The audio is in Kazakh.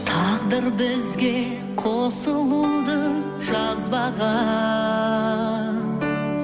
тағдыр бізге қосылуды жазбаған